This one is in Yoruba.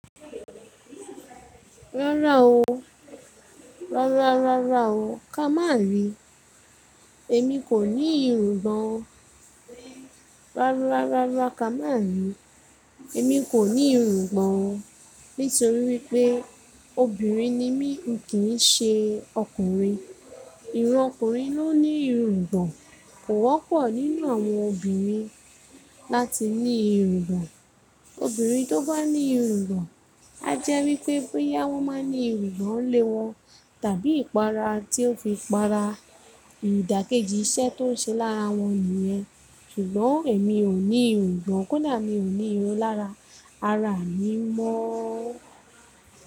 Rárá o. Rárá, rárá o. Ka má rí. Èmi kò ní irùngbọ̀n o. Rárá, rárá, rárá Ka má rí. Èmi kò ní irùngbọ̀n nítorí wípé obìnrin ni mí, mi kì ń ṣe ọkùnrin. Irun ọkùnrin ló ní irùngbọ̀n. Kò wọ́pọ̀ nínú àwọn obìnrin láti ní irùngbọ̀n. Obìnrin tó bá ní irùngbọ̀n, á jẹ́ wípé bóyá wón máa ń ní irùngbọ̀n le wọn tàbí ìpara tí ó fi para, ìdàkejì iṣẹ́ tó ń ṣe lára wọn nìyẹn. Ṣugbọn, èmi ò ní irungbọ̀n kó dà mí ò ní irun lára, ara mi mọ́.